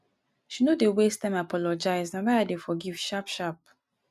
she no dey waste time apologize na why i dey forgive sharp sharp.